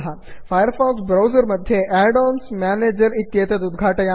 fire fox browser मध्ये add ons manager इत्येतत् उद्घाटयामः